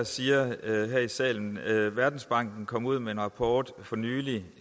siger her i salen verdensbanken kom ud med en rapport for nylig